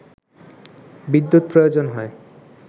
বিদ্যুৎ প্রয়োজন হয়